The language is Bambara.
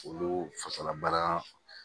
Olu fasalabana